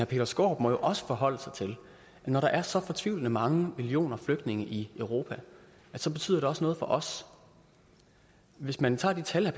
peter skaarup må jo også forholde sig til at når der er så fortvivlende mange millioner flygtninge i europa så betyder det også noget for os hvis man tager de tal